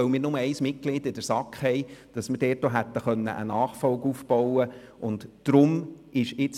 Weil wir nur ein Mitglied in der SAK haben, mit dem wir eine Nachfolge hätten aufbauen können, war kein anderes Vorgehen möglich.